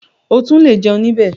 O tún le jẹun níbẹ̀.